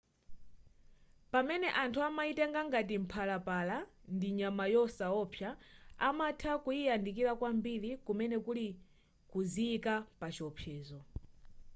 pamene anthu amayitenga ngati mphalapala ndi nyama yosaopsa amatha kuyiyandikira kwambiri kumene kuli kuziyika pa chiopsezo